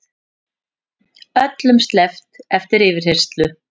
Öllum sleppt eftir yfirheyrslu